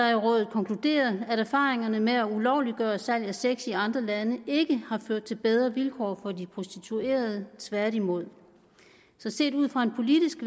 konkluderer at erfaringerne med at ulovliggøre salg af sex i andre lande ikke har ført til bedre vilkår for de prostituerede tværtimod så set ud fra en politisk